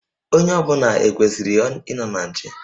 Onye ọ bụla ekwesịrị ịnọ na nche?